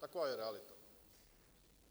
Taková je realita.